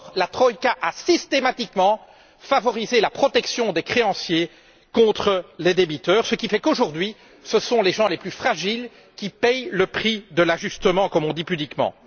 Or, la troïka a systématiquement favorisé la protection des créanciers contre les débiteurs, ce qui fait qu'aujourd'hui, ce sont les gens les plus fragiles qui paient le prix de l'ajustement, comme on dit pudiquement.